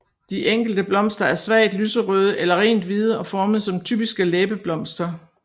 De enkelte blomster er svagt lyserøde eller rent hvide og formet som typiske læbeblomster